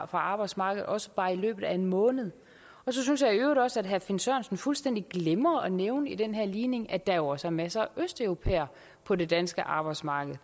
arbejdsmarkedet også bare i løbet af en måned så synes jeg i øvrigt også at herre finn sørensen fuldstændig glemmer at nævne i den her ligning at der jo også er masser af østeuropæere på det danske arbejdsmarked